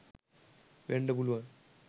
වෙන්ඩ පුළුවන්.